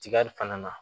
Tigali fana na